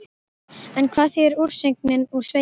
En hvað þýðir úrsögnin úr sveitinni?